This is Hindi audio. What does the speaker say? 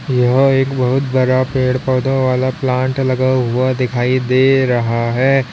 यहां एक बहोत बड़ा पेड़ पौधों वाला प्लांट लगा हुआ दिखाई दे रहा है।